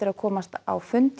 að komast á fund